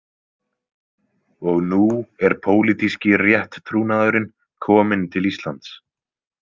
Og nú er pólitíski rétttrúnaðurinn kominn til Íslands.